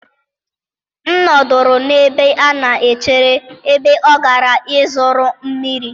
m nọduru n'ebe a na-echere, ebe ọ gara ịzụrụ mmiri